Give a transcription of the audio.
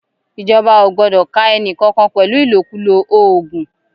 Ìjọba ò gbọdọ̀ ká ẹni kankan pẹ̀lú Ìlòkulò oògùn